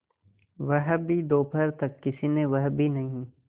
वह भी दोपहर तक किसी ने वह भी नहीं